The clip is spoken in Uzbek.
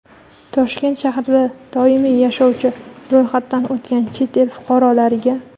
Toshkent shahrida doimiy yashovchi (ro‘yxatdan o‘tgan) chet el fuqarolariga;.